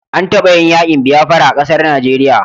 An taba yin yakin biafira a ƙasar Najeriya